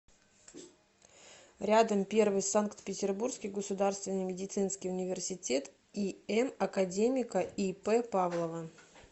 рядом первый санкт петербургский государственный медицинский университет им академика ип павлова